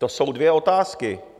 To jsou dvě otázky.